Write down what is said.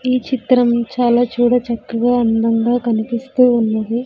ఈ చిత్రం చాలా చూడ చక్కగా అందంగా కనిపిస్తూ ఉన్నది.